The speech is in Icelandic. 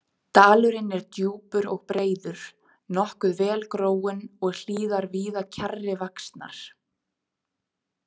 Dalurinn er djúpur og breiður, nokkuð vel gróinn og hlíðar víða kjarri vaxnar.